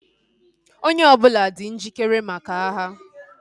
Onye ọbụla dị njikere maka agha